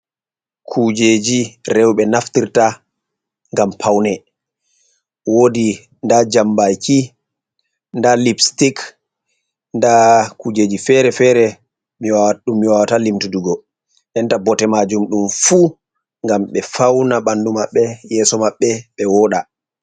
Kujeji rowɓe naftirta ngam pawne, woodi ndaa jambaaki, ndaa lipsitik, ndaa kujeji fere-fere, ɗum mi wawata limtudugo. Ndenta bote maajum, ɗum fuu ngam ɓe fawna ɓanndu maɓɓe, yeeso maɓɓe, ɓe wooɗa.